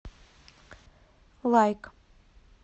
лайк